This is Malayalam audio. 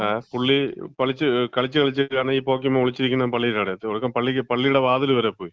പുള്ളി, കളിച്ച് കളിച്ച് കാരണം ഈ പോക്കീമാൻ ഒളിച്ചിരിക്കുന്നെ പള്ളിടവിടാ. പള്ളിടെ, പള്ളിടെവാതില് വരെ പോയി.